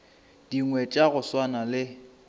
dingwe tša go swana le